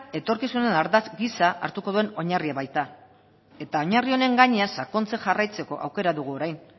etorkizunaren ardatz gisa hartuko duen oinarria baita eta oinarri honen gainean sakontzen jarraitzeko aukera dugu orain